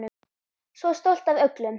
Svo stolt af öllum.